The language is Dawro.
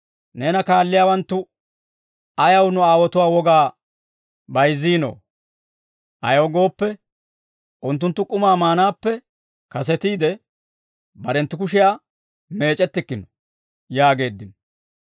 «Neena kaalliyaawanttu ayaw nu aawotuwaa wogaa bayzziinoo? Ayaw gooppe, unttunttu k'umaa maanaappe kasetiide, barenttu kushiyaa meec'ettikkino» yaageeddino.